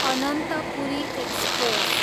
Ananthapuri express